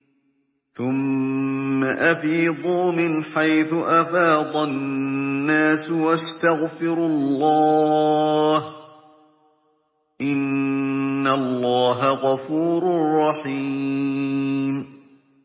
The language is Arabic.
ثُمَّ أَفِيضُوا مِنْ حَيْثُ أَفَاضَ النَّاسُ وَاسْتَغْفِرُوا اللَّهَ ۚ إِنَّ اللَّهَ غَفُورٌ رَّحِيمٌ